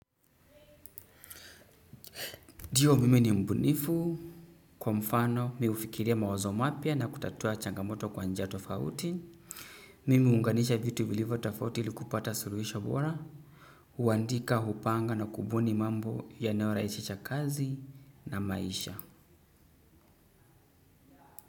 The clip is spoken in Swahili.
Ndio, mimi ni mbunifu. Kwa mfano, mimi hufikiria mawazo mapya na kutatua changamoto kwa njia tofauti. Mimi huunganisha vitu vilivyo tofauti ilikupata suluhisho bora. Huandika, hupanga na kubuni mambo yanayorahisisha kazi na maisha.